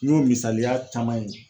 N y'o misaliya caman ye.